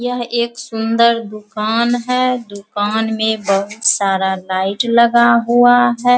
यह एक सुंदर दुकान है दुकान में बहुत सारा लाइट लगा हुआ है।